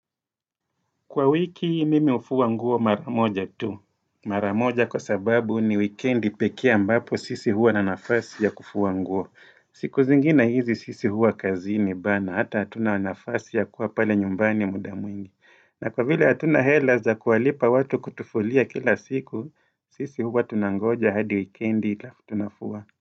Kwa wiki mimi hufua nguo maramoja tu. Maramoja kwa sababu ni wikendi pekee ambapo sisi huwa na nafasi ya kufua nguo. Siku zingine hizi sisi huwa kazini bana. Hata hatuna nafasi ya kuwa pale nyumbani muda mwingi. Na kwa vile hatuna hela za kuwalipa watu kutufulia kila siku, sisi huwa tunangoja hadi wikendi alafu tunafuwa.